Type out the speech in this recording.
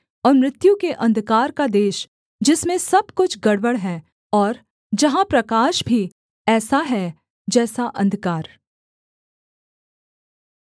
और मृत्यु के अंधकार का देश जिसमें सब कुछ गड़बड़ है और जहाँ प्रकाश भी ऐसा है जैसा अंधकार